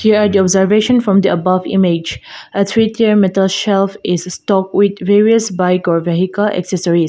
here are the observation from the above image a three tier metal shelf is stocked with various bike or vehicle accessories.